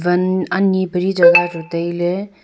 wan ani pale jagah chu taile.